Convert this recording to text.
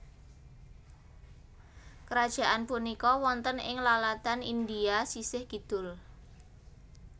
Krajaan punika wonten ing laladan India sisih kidul